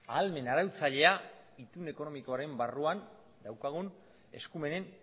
ahalmen arautzailea itun ekonomikoaren barruan daukagun eskumenen